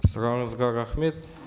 сұрағыңызға рахмет